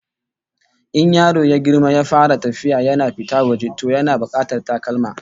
In yaro ya girma ya fara tafiya yana fita waje, to yana bukatar sabbin takalma